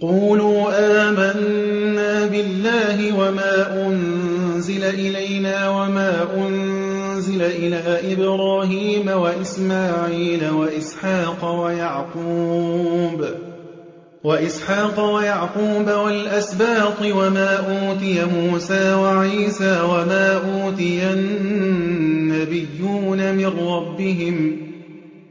قُولُوا آمَنَّا بِاللَّهِ وَمَا أُنزِلَ إِلَيْنَا وَمَا أُنزِلَ إِلَىٰ إِبْرَاهِيمَ وَإِسْمَاعِيلَ وَإِسْحَاقَ وَيَعْقُوبَ وَالْأَسْبَاطِ وَمَا أُوتِيَ مُوسَىٰ وَعِيسَىٰ وَمَا أُوتِيَ النَّبِيُّونَ مِن رَّبِّهِمْ